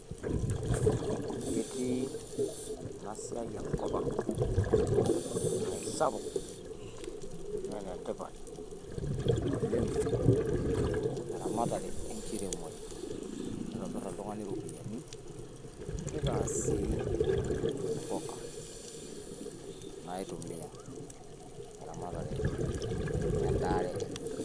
Ketii ena siai enkop ang naa keisapuk naa ene tipat oleng te ramatare enkiremore. Neitobir ltung`ani irropiyiani neita sii mpuka naitumia te ramatare o endaare enye.